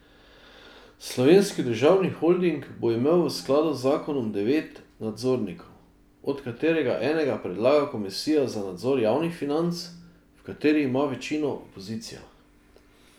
Slovenski državni holding bo imel v skladu z zakonom devet nadzornikov, od katerega enega predlaga komisija za nadzor javnih financ, v kateri ima večino opozicija.